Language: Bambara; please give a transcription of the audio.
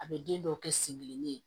A bɛ den dɔw kɛ sen kelen